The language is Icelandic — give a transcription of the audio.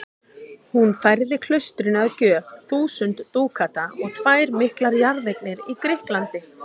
Hún færði klaustrinu að gjöf þúsund dúkata og tvær miklar jarðeignir í Grikklandi.